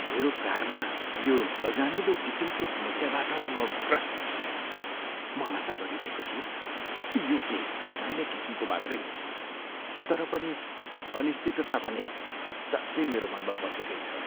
मेरो कारमा यो नजानिँदो किसिमको समस्याबाट म ग्रस्त छु। म आशा गरिरहेको छु कि यो केही सामान्य किसिमको मात्रै होस्, तर पनि अनिश्चितता भने साँच्चै मेरो मनमा बसेकै छ।